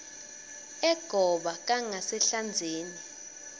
egoba kangasehlandzeni